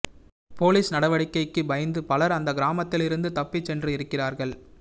police நடவடிக்கைக்கு பயந்து பலர் அந்த கிராமத்திலிருந்து தப்பி சென்று இருக்கிறார்கள்